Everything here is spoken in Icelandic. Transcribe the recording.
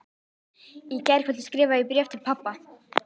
Í gærkvöldi skrifaði ég bréf til pabba.